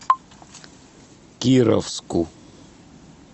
кировску